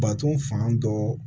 Baton fan dɔ